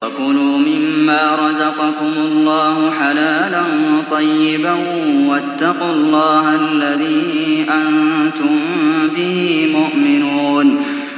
وَكُلُوا مِمَّا رَزَقَكُمُ اللَّهُ حَلَالًا طَيِّبًا ۚ وَاتَّقُوا اللَّهَ الَّذِي أَنتُم بِهِ مُؤْمِنُونَ